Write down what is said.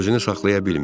Özünü saxlaya bilmir.